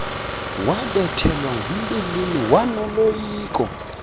wabethelwa ngumbilini wanoloyiko